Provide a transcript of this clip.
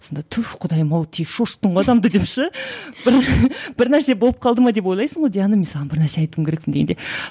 сонда түф құдайым ау тек шошыттың ғой адамды деп ше бір бір нәрсе болып қалды ма деп ойлайсың ғой диана мен саған бір нәрсе айтуым керекпін дегенде